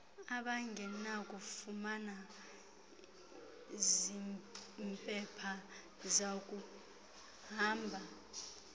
abangenakufumana zimpepha zakuhamba